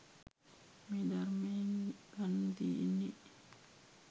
මේ ධර්මයෙන් ගන්න තියෙන්නේ.